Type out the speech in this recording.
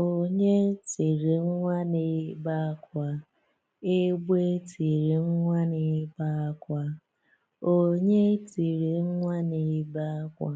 Onye tịrị nwa n’ebe àkwà, egbe tịrị nwa n’ebe àkwà. Onye tịrị nwa n’ebe àkwà,